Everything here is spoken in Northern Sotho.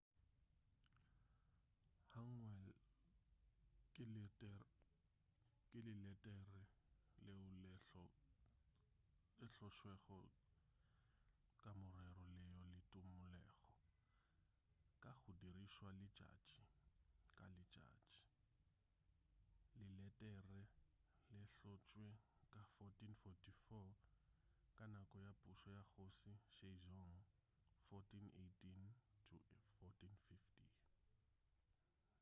hangeul ke leletere leo le hlotšwego ka morero leo le tumulego ka go dirišwa letšatši ka letšatši. leletere le hlotšwe ka 1444 ka nako ya pušo ya kgoši sejong 1418-1450